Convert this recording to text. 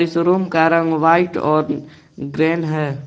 Showroom का रंग white और ग्रेन है।